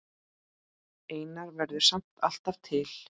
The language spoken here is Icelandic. Einar verður samt alltaf til.